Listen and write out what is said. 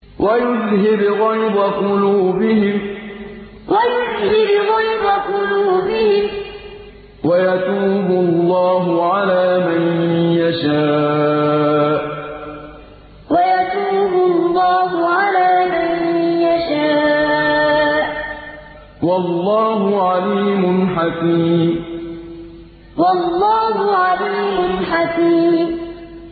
وَيُذْهِبْ غَيْظَ قُلُوبِهِمْ ۗ وَيَتُوبُ اللَّهُ عَلَىٰ مَن يَشَاءُ ۗ وَاللَّهُ عَلِيمٌ حَكِيمٌ وَيُذْهِبْ غَيْظَ قُلُوبِهِمْ ۗ وَيَتُوبُ اللَّهُ عَلَىٰ مَن يَشَاءُ ۗ وَاللَّهُ عَلِيمٌ حَكِيمٌ